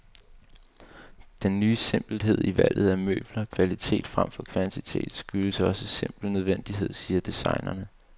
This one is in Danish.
Den ny simpelhed i valget af møbler, kvalitet fremfor kvantitet, skyldes også simpel nødvendighed, siger designerne.